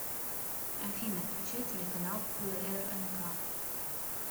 афина включай телеканал прнк